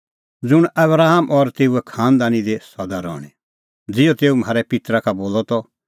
ज़ुंण आबरामा और तेऊए खांनदानी दी सदा रहणीं ज़िहअ तेऊ म्हारै पित्तरा का बोलअ त